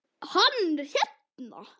Hann er hérna